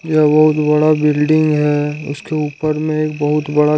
यह बहुत बड़ा बिल्डिंग है उसके ऊपर में एक बहुत बड़ा--